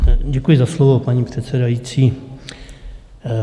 Děkuji za slovo, paní předsedající.